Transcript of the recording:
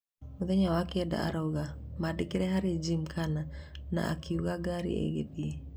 Mũthenya wa kenda arauga, "mandĩkire harĩa Gymkhana na akĩugua ngari ĩgĩthiĩ